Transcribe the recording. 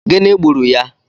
Gị gburu ya?